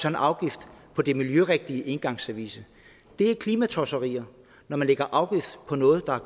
afgift på den miljørigtige engangsservice det er klimatosserier når man lægger afgift på noget der